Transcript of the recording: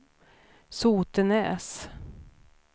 Sotenäs